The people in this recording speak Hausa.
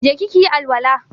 Je ki ki yi alwala!